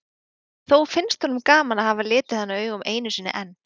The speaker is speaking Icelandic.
Þó finnst honum gaman að hafa litið hana augum einu sinni enn.